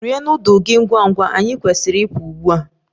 Rie nudulu gị ngwa ngwa! Anyị kwesịrị ịpụ ugbu a.